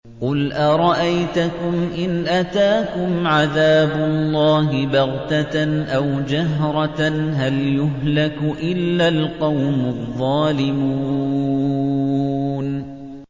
قُلْ أَرَأَيْتَكُمْ إِنْ أَتَاكُمْ عَذَابُ اللَّهِ بَغْتَةً أَوْ جَهْرَةً هَلْ يُهْلَكُ إِلَّا الْقَوْمُ الظَّالِمُونَ